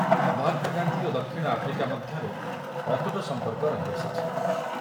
ମହାତ୍ମା ଗାନ୍ଧୀ ଓ ଦକ୍ଷିଣ ଆଫ୍ରିକା ମଧ୍ୟରେ ଅତୁଟ ସମ୍ପର୍କ ରହିଆସିଛି ।